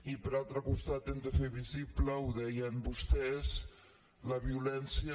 i per altre costat hem de fer visible ho deien vostès la violència